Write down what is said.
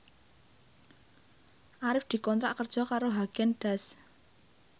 Arif dikontrak kerja karo Haagen Daazs